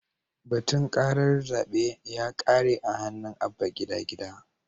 Batun karar zabe ya kare a hannun Abba Gida Gida.